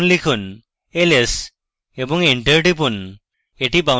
এখন লিখুন ls এবং enter টিপুন